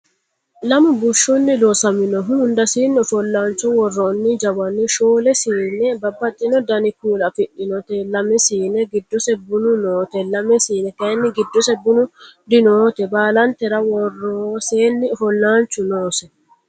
Lamu bushshunni loosaminohu hundasiinni ofollaancho worronni jawani shoole siine babbaxino Dani kuula afidhinoti lame siine giddose bunu noote lame siine kayinni giddose bunu dinoote baalantera woroseenni afollaanchu noose